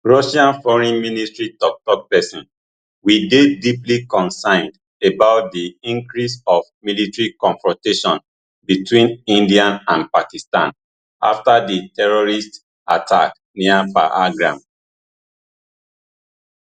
russian foreign ministry tok tok pesin we dey deeply concerned about di increase of military confrontation between india and pakistan afta di terrorist attack near pahalgam